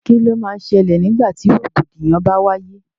Kíni o má n ṣẹlẹ̀ nígbà tí rògbòdìyàn bá wáyé?